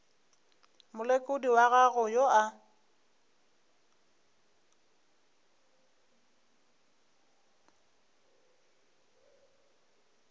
molekodi wa gago yo a